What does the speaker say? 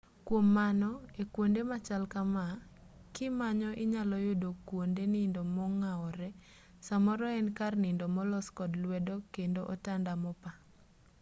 kuom mano ekuonde machal kamaa kimanyo inyalo yudo kuonde nindo mong'awore samoro en kar nindo molos kod lwedo kendo otanda mopaa